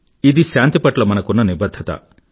ఇది శాంతి పట్ల మనకున్న నిబధ్ధత